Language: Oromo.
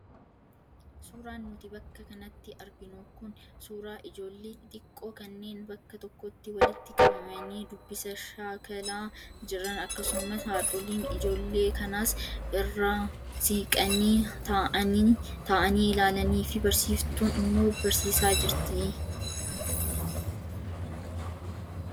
Suuraan nuti bakka kanatti arginu kun suuraa ijoollee xixiqqoo kanneen bakka tokkotti walitti qabamanii dubbisa shaakalaa jiran akkasumas haadholiin ijoollee kanaas irraa siqanii taa'anii ilaalanii fi barsiiftuun immoo barsiisaa jirti.